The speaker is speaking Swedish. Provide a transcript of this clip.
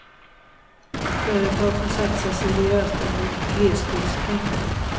Företag som satsar seriöst bör få glesbygdspengar.